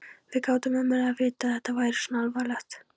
Við gátum ómögulega vitað að þetta væri svona alvarlegt.